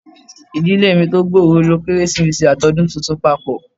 Ìdílé mi tó gbòòrò lo Kérésìmesì àti Ọdún Tuntun papọ.